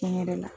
Tiɲɛ yɛrɛ la